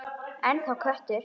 Ennþá köttur.